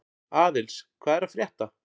Aðils, hvað er að frétta?